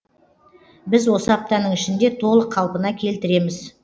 біз осы аптаның ішінде толық қалпына келтіреміз